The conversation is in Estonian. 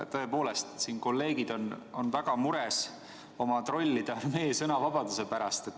Tõepoolest, kolleegid on siin väga mures oma trollide armee sõnavabaduse pärast.